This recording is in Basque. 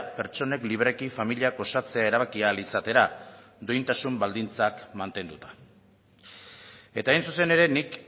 pertsonek libreki familiak osatzea erabaki ahal izatera duintasun baldintzak mantenduta eta hain zuzen ere nik